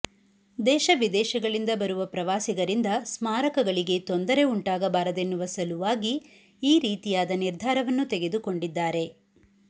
ದೇಶ ವಿದೇಶಗಳಿಂದ ಬರುವ ಪ್ರವಾಸಿಗರಿಂದ ಸ್ಮಾರಕಗಳಿಗೆ ತೊಂದರೆ ಉಂಟಾಗಬಾರದೆನ್ನುವ ಸಲುವಾಗಿ ಈ ರೀತಿಯಾದ ನಿರ್ಧಾರವನ್ನು ತೆಗೆದುಕೊಂಡಿದ್ದಾರೆ